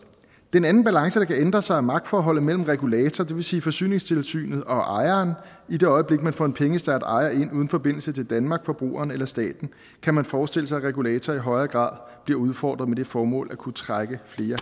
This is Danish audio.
en anden balance der kan ændre sig i magtforholdet mellem regulator det vil sige forsyningstilsynet og ejeren i det øjeblik man får en pengestærk ejer ind uden forbindelse til danmark forbrugerne eller staten kan man forestille sig at regulator i højere grad bliver udfordret med det formål at kunne trække flere